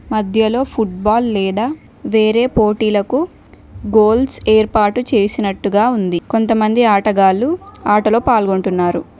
మధ్యలో ఫుట్బాల్ లేదా వేరే పోటీలకు గోల్స్ ఏర్పాటు చేసినట్టుగా ఉంది కొంత మంది ఆటగాళ్లు ఆటలో పాల్గొంటున్నారు.